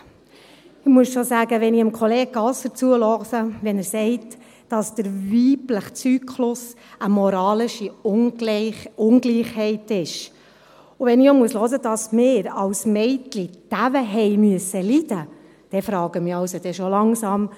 Ich muss schon sagen, wenn ich Kollege Gasser zuhöre und er sagt, dass der weibliche Zyklus eine moralische Ungleichheit sei, und wenn ich hören muss, dass wir als Mädchen dermassen leiden mussten, dann frage ich mich doch langsam.